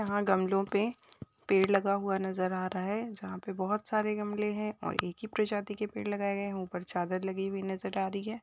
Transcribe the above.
यहा गमलो पे पेड़ लगा हुआ नज़र आ रहा है जहा पे बहुत सारे गमले है और एक ही प्रजातिके पेड़ लगाए गए है। ऊपर चादर लगी हुई नज़र आ रही है।